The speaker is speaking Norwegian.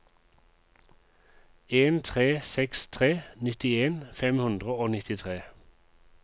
en tre seks tre nittien fem hundre og nittitre